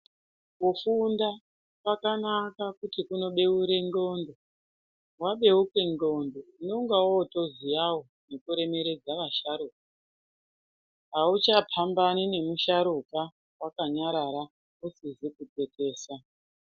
Kufunda kwakanaka kuti kunobeure ndxondo, wabeuka ndxondo unenge wotoziyawo zvekuremeredze vasharukwa auchapambani nemusharukwa wakanyarara usizi kukekesa.